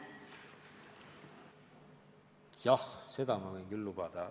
Jah, seda ma võin küll lubada.